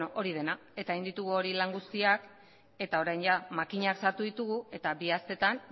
hori dena eta egin ditugu hori lan guztiak eta orain makinak sartu ditugu eta bi asteetan